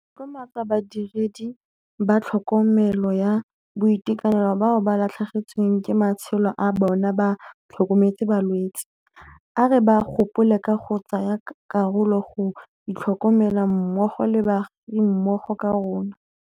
Re tlotlomatsa badiredi ba tlhokomelo ya boitekanelo bao ba latlhegetsweng ke matshelo a bona ba tlhokometse balwetse. A re ba gopoleng ka go tsaya karolo go itlhokomela mmogo le baagimmogo ka rona.